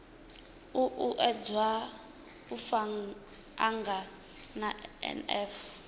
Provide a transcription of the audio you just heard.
u uuwedza u angana na nf